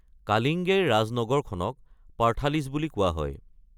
কালিংগেৰ ৰাজনগৰখনক পাৰ্থালিছ বুলি কোৱা হয়।